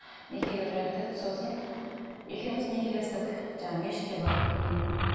некеге тұрайық дедік сосын екеуміз некелестік жаңағы мешітке барып ммм